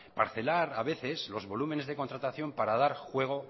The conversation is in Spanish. parcelar a veces los volúmenes de contratación para dar juego